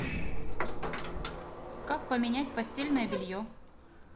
как поменять постельное белье